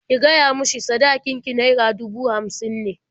Ki gaya mishi sadakin ki naira dubu hamsin ne.